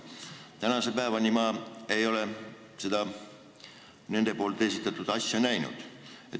Tänase päevani ei ole ma seda nende esitatud asja näinud.